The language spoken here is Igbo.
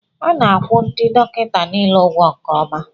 A na-akwụ ndị dọkịta niile ụgwọ nke ọma